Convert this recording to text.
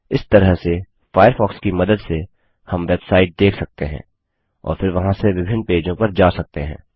इस तरह से फ़ायरफ़ॉक्स की मदद से हम वेबसाइट देख सकते हैं और फिर वहाँ से विभिन्न पेजों पर जा सकते हैं